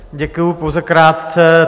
Děkuji, pouze krátce.